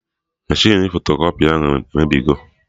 Meshịn fotokọpị ahụ emebigo